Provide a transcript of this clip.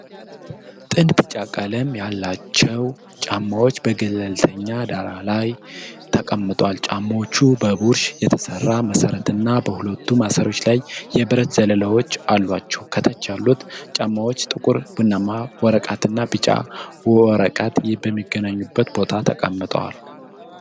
ጥንድ ቢጫ ቀለም ያላቸው ጫማዎች በገለልተኛ ዳራ ላይ ተቀምጠዋል። ጫማዎቹ በቡሽ የተሰራ መሠረትና በሁለት ማሰሪያዎች ላይ የብረት ዘለላዎች አሏቸው። ከታች ያሉት ጫማዎች ጥቁር ቡናማ ወረቀትና ቢጫ ወረቀት በሚገናኙበት ቦታ ተቀምጠዋል።